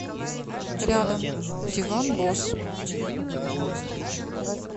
рядом диван босс